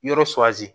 Yɔrɔ